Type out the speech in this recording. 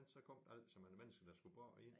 Ellers så kom der altid mange mennesker der skulle bo i den